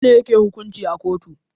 Wa nene yake hukunci a kotu?